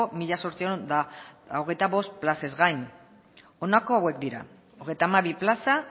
mila zortziehun eta hogeita bost plazez gain honako hauek dira hogeita hamabi plaza